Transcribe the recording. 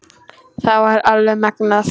Það var alveg magnað.